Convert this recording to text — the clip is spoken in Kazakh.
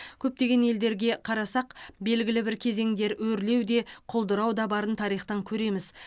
көптеген елдерге қарасақ белгілі бір кезеңдер өрлеу де құлдырау да барын тарихтан көреміз